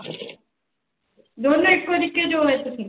ਦੋਨੋਂ ਇੱਕੋ ਜਿੱਕੇ ਜੋ ਹੋਏ ਤੁਸੀਂ।